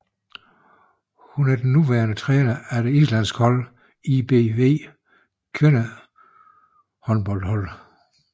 Hun er den nuværende træner af det islandske hold ÍBVs kvindehåndboldhold